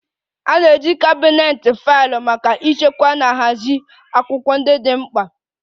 A na-eji kabinet faịlụ maka ịchekwa na ịhazi akwụkwọ ndị dị mkpa